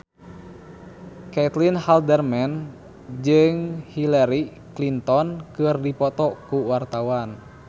Caitlin Halderman jeung Hillary Clinton keur dipoto ku wartawan